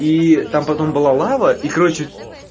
и там потом была лава и короче